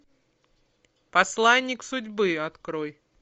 посланник судьбы открой